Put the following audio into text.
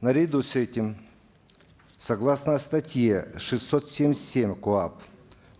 наряду с этим согласно статье шестьсот семьдесят семь коап